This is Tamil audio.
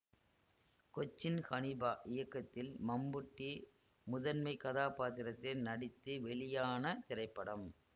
கொச்சின் ஹனீபா இயக்கத்தில் மம்புட்டி முதன்மை கதாபாத்திரத்தில் நடித்து வெளியான திரைப்படம்